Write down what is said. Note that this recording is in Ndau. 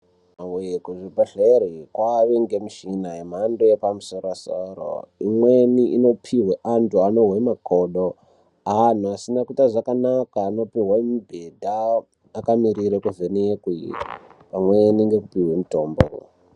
Ee Kuzvibhedhleri kwaane mishina yemhando yepamusoro soro imweni inopihwe antu anozwe makodo antu asine kuite zvakanaka anopihwe mubhedha akamirire kuvhenekwe pamweni ngekupihwe mutombo.